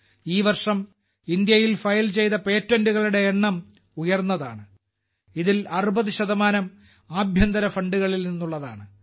ഈ വർഷം ഇന്ത്യയിൽ ഫയൽ ചെയ്ത പേറ്റന്റുകളുടെ എണ്ണം ഉയർന്നതാണ് അതിൽ 60 ആഭ്യന്തര ഫണ്ടുകളിൽ നിന്നുള്ളതാണ്